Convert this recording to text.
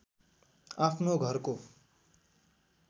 आफ्नो घरको